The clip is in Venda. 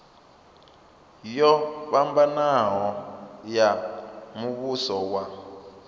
yo fhambanaho ya muvhuso wa